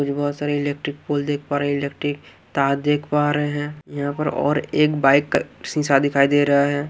कुछ बहोत सारे इलेक्ट्रिक पोल देख पा रहें हैं इलेक्ट्रिक तार देख पा रहें हैं यहाँ पर और एक बाइक शीशा दिखाई दे रहा है।